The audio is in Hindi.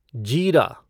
जीरा